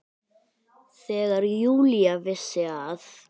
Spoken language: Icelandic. Þegar Júlía vissi að